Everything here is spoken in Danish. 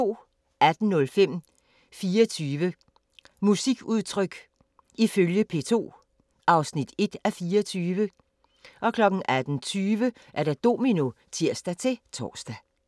18:05: 24 musikudtryk ifølge P2 (1:24) 18:20: Domino (tir-tor)